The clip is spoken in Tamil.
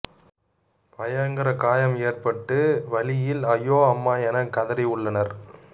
பயங்கர காயம் ஏற்பட்டு வலியில் அய்யோ அம்மா என கதறி உள்ளனர்